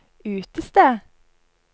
utested